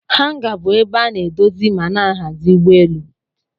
Hanga bu ebe ana edozi mana ahazi ugbọ elụ.